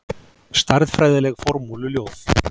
Stærðfræðileg formúluljóð.